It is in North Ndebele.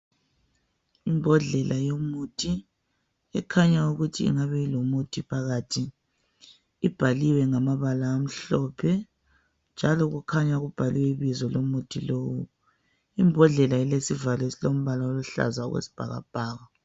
Imbodlela yomuthi ekhanya ukuthi ingabe ilomuthi phakathi. Ibhaliwe ngamabala amhlophe njalo kukhanya kubhalwe ibizo lomuthi lowu. Imbodlela ilesivalo esilombala oluhlaza okwesibhakabhaka.